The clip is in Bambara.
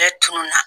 Bɛɛ tun na